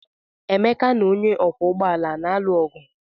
Emeka na onye ọkwọ ụgbọala a na-alụ ọgụ?